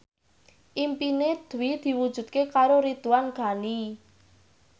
impine Dwi diwujudke karo Ridwan Ghani